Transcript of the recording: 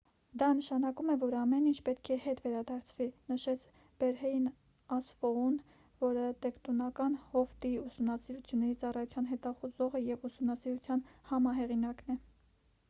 դա նշանակում է որ ամեն ինչ պետք է հետ վերադարձվի»,- նշեց բերհեյն ասֆոուն որը տեկտոնական հովտի ուսումնասիրությունների ծառայության հետազոտողը և ուսումնասիրության համահեղինակն է: